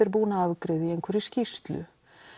er búin að afgreiða í einhverri skýrslu